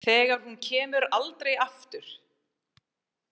Þegar hún kemur aldrei aftur.